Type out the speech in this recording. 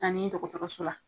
Ani dɔkɔtɔrɔso la.